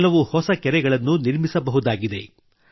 ಕೆಲವು ಹೊಸ ಕೆರೆಗಳನ್ನು ನಿರ್ಮಿಸಬಹುದಾಗಿದೆ